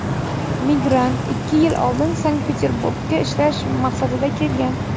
migrant ikki yil oldin Sankt-Peterburgga ishlash maqsadida kelgan.